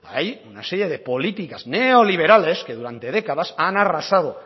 hay una serie de políticas neoliberales que durante décadas han arrasado